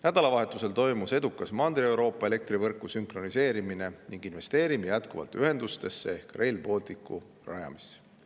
Nädalavahetusel toimus edukalt Mandri-Euroopa elektrivõrguga sünkroniseerimine ning me investeerime jätkuvalt ühendustesse ehk Rail Balticu rajamisse.